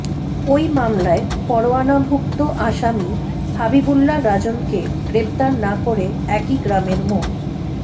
ওই মামলায় পরোয়ানাভুক্ত আসামি হাবিবুল্লাহ রাজনকে গ্রেপ্তার না করে একই গ্রামের মো